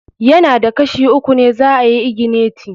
Ya na da Kashi uku ne za ayi igineti.